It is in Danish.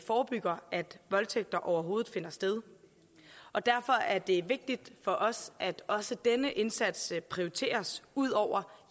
voldtægter overhovedet finder sted og derfor er det vigtigt for os at også denne indsats prioriteres ud over